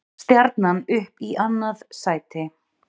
Stjarnan upp í annað sæti